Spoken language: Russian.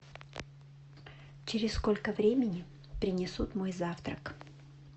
через сколько времени принесут мой завтрак